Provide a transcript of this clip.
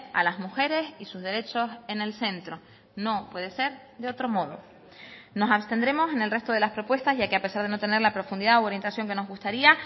a las mujeres y sus derechos en el centro no puede ser de otro modo nos abstendremos en el resto de las propuestas ya que a pesar de no tener la profundidad u orientación que nos gustaría